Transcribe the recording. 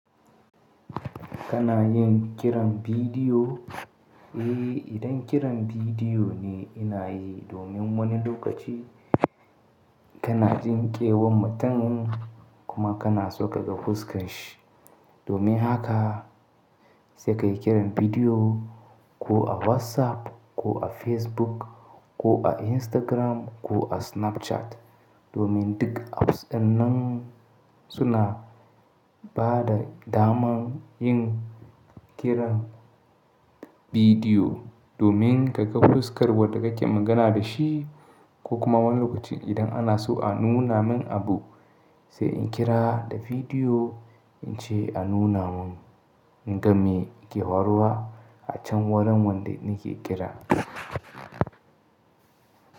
Kana yin kiran bidiyo? Eh, idan kiran bidiyo ne ina yi domin wani lokaci kana jin kewan mutun kuma kana so kaga fuska shi. Domin haka sai ka yi kiran bidiyo ko a WhatsApp, ko a Facebook, ko a Instagram, ko a Snapchat. Domin duk apps ɗin nan suna ba da daman yin kiran bidiyo domin ka ga fuskar wanda kake magana da shi ko kuma wani lokaci idan ana so a nuna min abu, sai in kira da video in ce a nuna mun in game ke huaruwa a can wurin wanda nake kira.